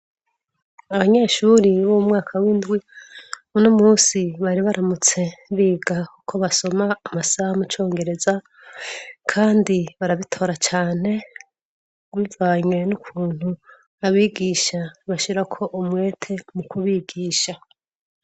Abanyeshuri b'umwaka w'indwi unomunsi bari baramutse biga uko basoma amasaha mucongereza kandi barabitora cane bivanye n'ukuntu abigisha bashirako umwete mu kubigisha.